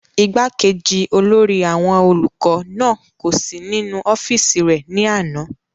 igbákejì olórí àwọn olùkọ́ náà kò sí nínú ọ́fìsì rẹ̀ ní àná